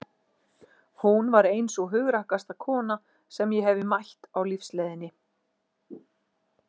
Hún var ein sú hugrakkasta kona sem ég hefi mætt á lífsleiðinni.